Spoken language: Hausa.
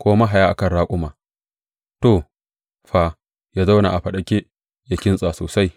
ko mahaya a kan raƙuma, to, fa ya zauna a faɗake, ya kintsa sosai.